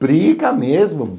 Briga mesmo.